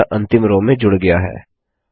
यह अंतिम रो में जुड़ गया है